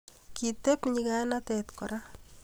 kiteb nyikanatet kora